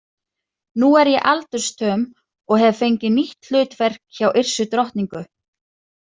Nú er ég aldursstöm og hef fengið nýtt hlutverk hjá Yrsu drottningu.